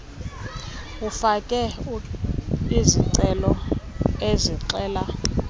ufake izicelo ezixela